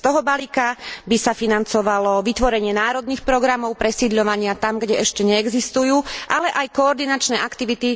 Z toho balíka by sa financovalo vytvorenie národných programov presídľovania tam, kde ešte neexistujú, ale aj koordinačné aktivity na centrálnej úrovni.